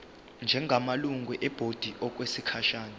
njengamalungu ebhodi okwesikhashana